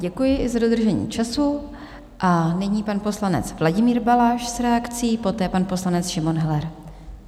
Děkuji i za dodržení času a nyní pan poslanec Vladimír Balaš s reakcí, poté pan poslanec Šimon Heller.